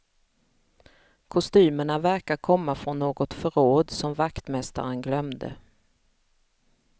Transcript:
Kostymerna verkar komma från något förråd som vaktmästaren glömde.